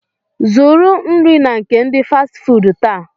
Zụrụ nri na nke ndi Fasti fuudu taa